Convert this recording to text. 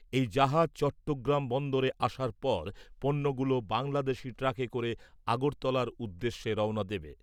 এই জাহাজ চট্টগ্রাম বন্দরে আসার পর পণ্যগুলো বাংলাদেশী ট্রাকে করে আগরতলার উদ্দেশ্যে রওনা দেবে ।